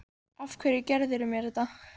Af hverju gerðirðu mér þetta?